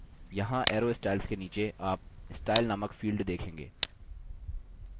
यहाँ arrow styles के नीचे आप style named field देखेंगे